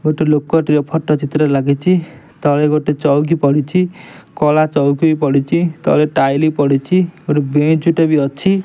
ଗୋଟେ ଲୋକଟିର ଫଟୋ ଚିତ୍ର ଲାଗିଚି ତଳେ ଗୋଟେ ଚୋଉକି ପଡ଼ିଚି କଳା ଚୋଉକିବି ପଡ଼ିଚି ତଳେ ଟାଇଲି ପଡ଼ିଚି ଗୋଟେ ବେଞ୍ଚ ଟେ ଅଛି।